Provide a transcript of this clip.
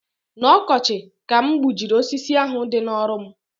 N'ọkọchị ka m gbujiri osisi ahu dị n'ọrụ m